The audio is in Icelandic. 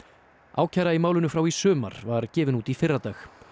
ákæra í málinu frá í sumar var gefin út í fyrradag